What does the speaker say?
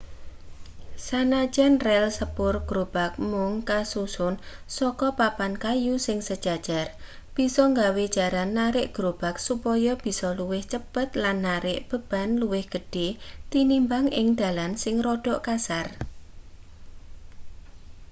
sanajan rel sepur grobag mung kasusun saka papan kayu sing sejajar bisa nggawe jaran narik grobag supaya bisa luwih cepet lan narik beban luwih gedhe tinimbang ing dalan sing rada kasar